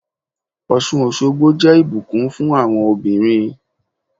Ọ̀ṣun Òṣogbo jẹ́ ìbùkún fún àwọn obìnrin.